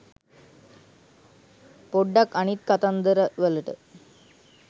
පොඩ්ඩක් අනිත් කතන්දරවලට